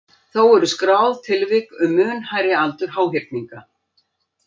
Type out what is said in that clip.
Þó eru skráð tilvik um mun hærri aldur háhyrninga.